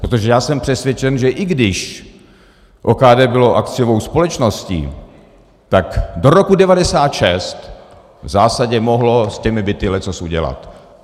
Protože já jsem přesvědčen, že i když OKD bylo akciovou společností, tak do roku 1996 v zásadě mohlo s těmi byty leccos udělat.